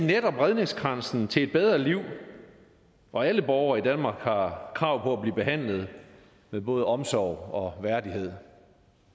redningskransen til et bedre liv og alle borgere i danmark har krav på at blive behandlet med både omsorg og værdighed